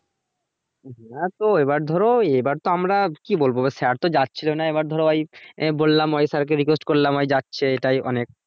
হ্যাঁ তো এবার ধরো এবার তো আমরা কি বলবো এবার sir তো যাচ্ছিলো না এবার ধরো ভাই আমি বললাম অনেক sir কে request করলাম ওই যাচ্ছে তাই অনেক